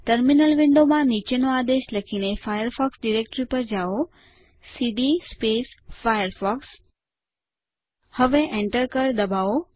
terminal વિન્ડોમાં નીચેનો આદેશ લખીને ફાયરફોક્સ ડિરેક્ટરી પર જાઓ સીડી ફાયરફોક્સ હવે Enter કળ દબાવો